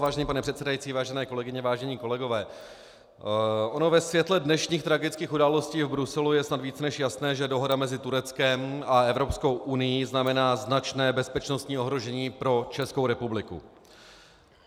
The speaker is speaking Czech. Vážený pane předsedající, vážené kolegyně, vážení kolegové, ono ve světle dnešních tragických událostí v Bruselu je snad víc než jasné, že dohoda mezi Tureckem a Evropskou unií znamená značné bezpečnostní ohrožení pro Českou republiku.